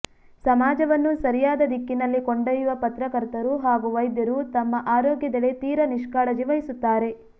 ಸಮಾಜವನ್ನು ಸರಿಯಾದ ದಿಕ್ಕಿನಲ್ಲಿ ಕೊಂಡೊಯ್ಯುವ ಪತ್ರಕರ್ತರು ಹಾಗೂ ವೈದ್ಯರು ತಮ್ಮ ಆರೋಗ್ಯದೆಡೆ ತೀರಾ ನಿಷ್ಕಾಳಜಿ ವಹಿಸುತ್ತಾರೆ